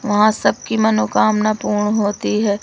वहां सबकी मनोकामना पूर्ण होती है।